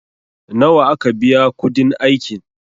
nawa aka biya kudin aikin?